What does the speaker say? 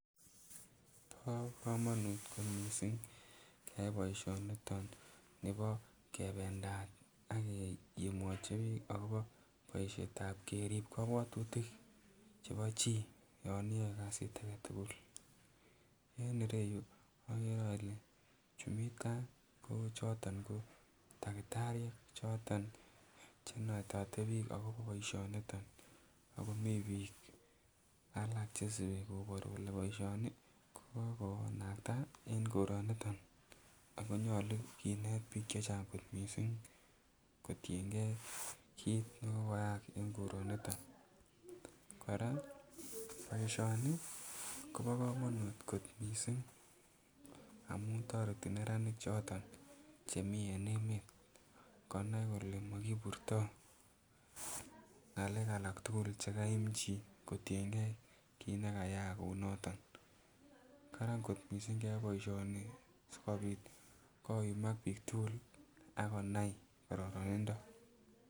Bo komonut kot missing keyai boisioniton nibo kebendat ak keyumote biik akobo boisietab keriib kobwotutik chebo chii yon iyoe kasit aketugul. En ireyu agere ole chumitaa kochoton ko takitariek choton chenetote biik akobo boisioniton ako mii biik alak chesibi kobor kole boisioni kokokonakta en koroniton ako nyolu kinet biik chechang kot missing kotiengee kit nekokoyaak en koroniton. Kora boisioni kobo komonut kot missing amun toreti neranik choton chemii en emet konai kole mokiburtoo ng'alek alak tugul chekaim chii kotiengei kit nekayaak kounoton, karan kot missing keyai boisioni sikobit koyumak biik tugul akonai kororonindo